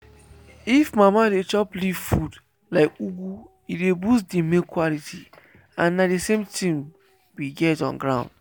if mama dey chop leaf food like ugu e dey boost the milk quality and na the same things we get on ground.